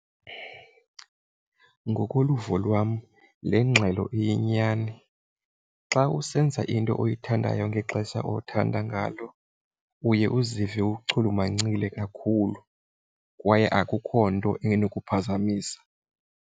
Ngokoluvo lwam le ngxelo iyinyani. Xa usenza into oyithandayo ngexesha othanda ngalo uye uzive uchulumancile kakhulu kwaye akukho nto enokuphazamisa.